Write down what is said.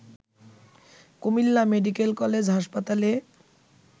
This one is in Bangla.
কুমিল্লা মেডিকেল কলেজ হাসপাতালে